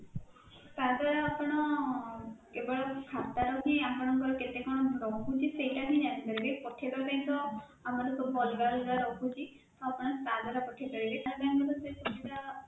ତା ଦ୍ୱାରା ଆପଣ କେବଳ ଖାତା ର ହିଁ ଆପଣଙ୍କର କେତେ କଣ ରହୁଛି ସେଇଟା ହିଁ ଜାଣିପାରିବେ, ପଠେଇବା ପାଇଁ ତ ଆପଣଙ୍କର ଅଲଗା ଅଲଗା ରହୁଛି ଆପଣ ତା ଦ୍ୱାରା ପଠେଇପାରିବେ para bank ର ସେ ସୁବିଧା